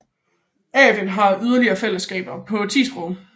AVEN har yderligere fællesskaber på 10 sprog